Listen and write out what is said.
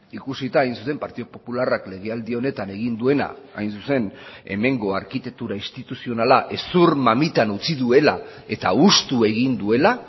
ikusita hain zuzen partidu popularrak lege aldi honetan egin duena hain zuzen hemengo arkitektura instituzionala hezur mamitan utzi duela eta hustu egin duela